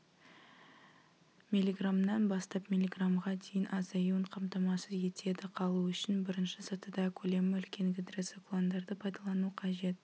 миллиграммнан бастап миллиграммға дейін азаюын қамтамасыз етеді қалу үшін бірінші сатыда көлемі үлкен гидроциклондарды пайдалану қажет